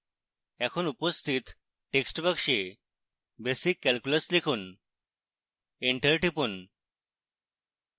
এখন উপস্থিত text box basic calculus লিখুন enter টিপুন